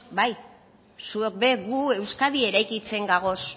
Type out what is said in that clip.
bai zuek ere gu euskadi eraikitzen gagoz